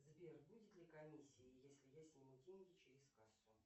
сбер будет ли комиссия если я сниму деньги через кассу